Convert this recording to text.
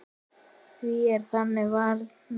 Því er þannig varið núna.